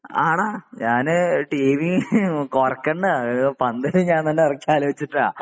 ആ ടാ ഞാന് ടിവിയും കുറേക്കണ്ട പന്തലും ഞാൻ തന്നെ ഇറക്കാൻ ആലോചിച്ചിട്ടാ